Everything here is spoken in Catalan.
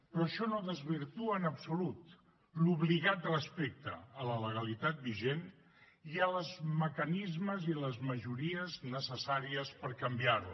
però això no desvirtua en absolut l’obligat respecte a la legalitat vigent i als mecanismes i a les majories necessàries per canviar la